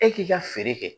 E k'i ka feere kɛ